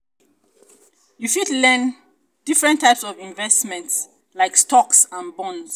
you fit learn fit learn differnt types of investments like stocks and bonds.